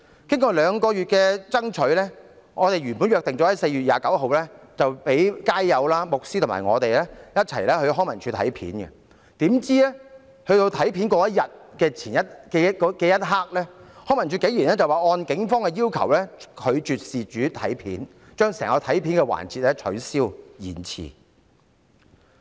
經過兩個月的爭取，我們原本約定在4月29日讓街友、牧師和我一同在康文署翻看片段，豈料在約定當天，康文署竟然臨時說按警方要求，拒絕讓事主翻看錄影片段，將整項安排取消或延遲。